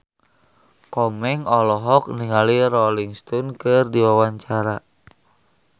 Komeng olohok ningali Rolling Stone keur diwawancara